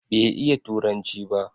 Bai iya turanci ba